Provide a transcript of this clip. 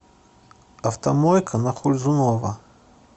автомойка на хользунова